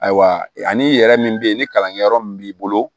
Ayiwa ani yɛrɛ min bɛ ye ni kalankɛyɔrɔ min b'i bolo